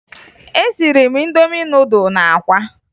Esiri m Indomi nudụ na akwa